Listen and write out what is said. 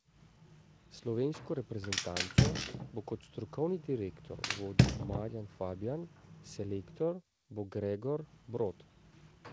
Slovensko reprezentanco bo kot strokovni direktor vodil Marjan Fabjan, selektor bo Gregor Brod.